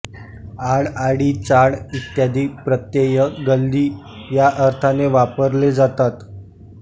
आळआळीचाळ इत्यादी प्रत्यय गल्ली या अर्थाने वापरले जातात